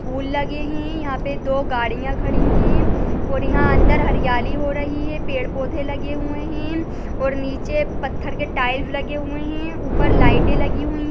फूल लगे हैं यहाँ पे दो गड़िया खड़ी हैं और यहाँ अंदर हरियाली हो रही है पेड़ पोधे लगे हुए हैं और नीचे पत्थर के टाइल्स लगे हुए हैं ऊपर लाइटे लगी हुई--